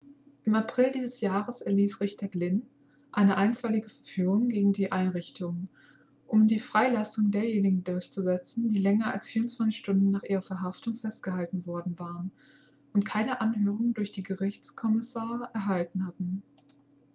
im april dieses jahres erließ richter glynn eine einstweilige verfügung gegen die einrichtung um die freilassung derjenigen durchzusetzen die länger als 24 stunden nach ihrer verhaftung festgehalten worden waren und keine anhörung durch einen gerichtskommissar erhalten hatten